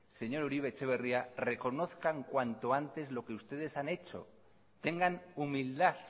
señor uribe etxebarria reconozcan cuanto antes lo que ustedes han hecho tengan humildad